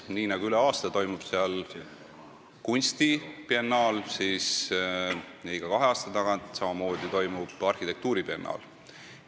Nii nagu üle aasta toimub seal kunstibiennaal, on seal ka iga kahe aasta tagant arhitektuuribiennaal.